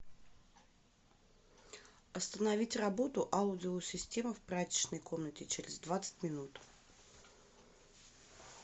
остановить работу аудио система в прачечной комнате через двадцать минут